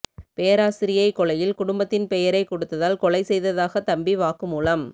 பேராசிரியை கொலையில் குடும்பத்தின் பெயரை கெடுத்ததால் கொலை செய்ததாக தம்பி வாக்குமூலம்